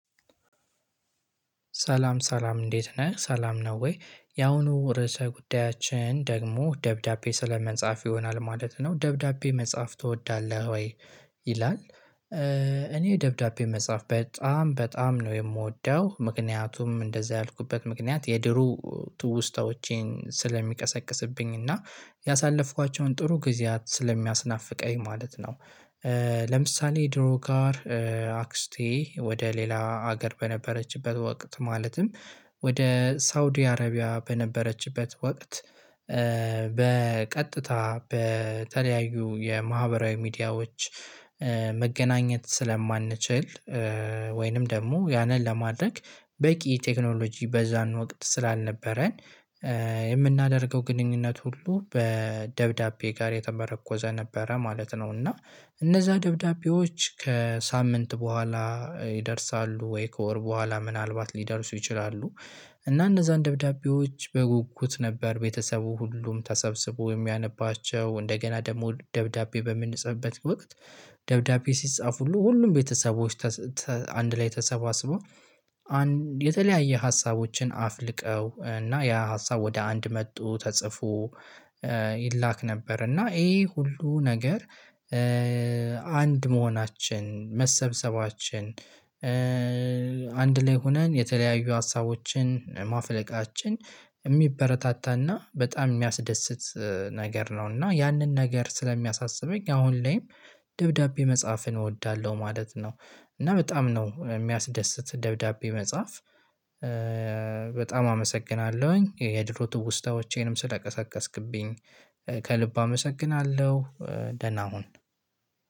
ሰላም ሰላም እንዴት ነህ? ሰላም ነው ወይ ያሁኑ ርዕሰ ጉዳያችን ደግሞ ደብዳቤ ስለ መጻፍ ይሆናል ማለት ነው። ደብዳቤ መጻፍ ትወዳለህ ወይ? ይላል። እኔ ደብዳቤ መጻፍ በጣም በጣም ነው የምወደው ምክንያቱም እንደዛ ያልኩበት ምክንያት የድሩ ትውስታዎቼን ስለሚቀሰቅስብኝ እና ያሳለፍኳቸውን ጥሩ ጊዜያት ስለሚያስናፍቀኝ ማለት ነው። ለምሳሌ ድሮ ጋር አክስቴ ወደ ሌላ ሀገር በነበረችበት ወቅት ማለትም ወደ ሳውዲ አረቢያ በነበረችበት ወቅት። በቀጥታ በተለያዩ የማህበራዊ ሚዲያዎች። መገናኘት ስለማንችል። ወይንም ደግሞ ያንን ለማድረግ በቂ ቴክኖሎጂ በዛ እንወቅድ ስላልነበረን። የምናደርገው ግንኙነት ሁሉ በደብዳቤ ጋር የተመረኮዘ ነበረ ማለት ነው። እና እነዛ ደብዳቤዎች ከሳምንት በኋላ ይደርሳሉ ወይ ከወር በኋላ ምናልባት ሊደርሱ ይችላሉ። እና እነዛን ደብዳቤዎች በጉጉት ነበር ቤተሰቡ ሁሉም ተሰብስቦ የሚያነባቸው እንደገና ደግሞ ደብዳቤ በምንጽፍበት ወቅት ደብዳቤ ሲጻፍ ሁሉ ሁሉም ቤተሰቦች አንድ ላይ ተሰባስቦ። የተለያየ ሀሳቦችን አፍልቀው እና ያ ሀሳብ ወደ አንድ መጡ ተጽፎ ይላክ ነበር። እና ይሄ ሁሉ ነገር አንድ መሆናችን መሰብሰባችን አንድ ላይ ሆነን የተለያዩ ሀሳቦችን ማፍለቃችን የሚበረታታና በጣም የሚያስደስት ነገር ነው። እና ያንን ነገር ስለሚያሳስበኝ አሁን ላይም ደብዳቤ መጽሐፍን እወዳለሁ ማለት ነው። እና በጣም ነው የሚያስደስት ደብዳቤ መጽሐፍ። በጣም አመሰግናለሁኝ የድሮ ትውስታዎቼንም ስለቀሰቀስክብኝ ከልብ አመሰግናለሁ። ደና ሁን